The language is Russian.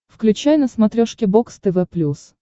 включай на смотрешке бокс тв плюс